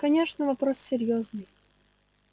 конечно вопрос серьёзный